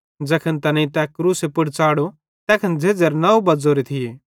ज़ैखन तैनेईं तै क्रूसे पुड़ च़ाढ़ो तैखन झ़ेज़्झ़ेरे नौ बज़्ज़ोरे थिये